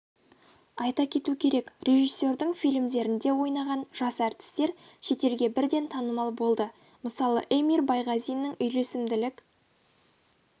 айта кету керек режиссердің фильмдерінде ойнаған жас әртістер шетелге бірден танымал болды мысалы эмир байғазиннің үйлесімділік